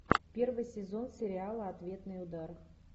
первый сезон сериала ответный удар